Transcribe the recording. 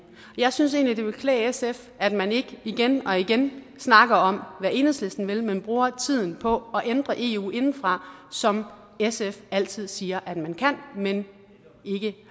jeg synes egentlig at det ville klæde sf at man ikke igen og igen snakker om hvad enhedslisten vil men bruger tiden på at ændre eu indefra som sf altid siger man kan men ikke